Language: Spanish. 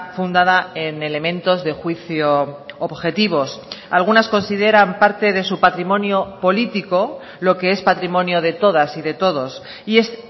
fundada en elementos de juicio objetivos algunas consideran parte de su patrimonio político lo que es patrimonio de todas y de todos y es